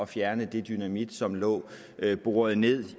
fjerne den dynamit som lå boret ned